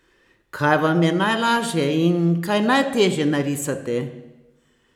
Kaj vam je najlažje in kaj najtežje narisati?